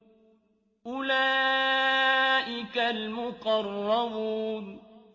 أُولَٰئِكَ الْمُقَرَّبُونَ